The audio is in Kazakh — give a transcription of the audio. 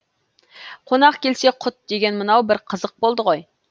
қонақ келсе құт деген мынау бір қызық болды ғой